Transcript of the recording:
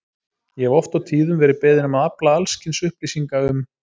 Ég hef oft og tíðum verið beðinn um að afla alls kyns upplýsinga um